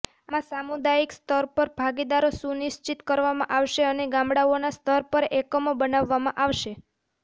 આમાં સામુદાયિક સ્તર પર ભાગીદારી સુનિશ્ચિત કરવામાં આવશે અને ગામડાઓના સ્તર પર એકમો બનાવામાં આવશે